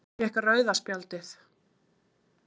Hver fékk rauða spjaldið?